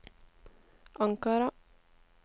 Ankara